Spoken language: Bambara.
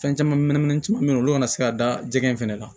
Fɛn caman bɛ yen nɔ olu kana se ka da jɛgɛ in fana kan